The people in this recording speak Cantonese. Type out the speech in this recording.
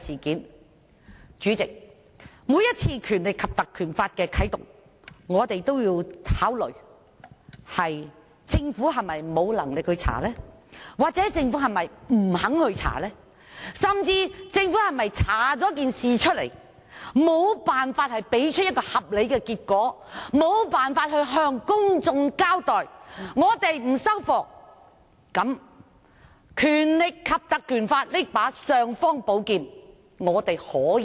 代理主席，每當要啟動《條例》，我們均會考慮政府是否沒能力或不肯調查，甚至是否政府調查後無法提出合理結果向公眾交代，而我們亦不接受，才可以適時啟動《條例》這把"尚方寶劍"。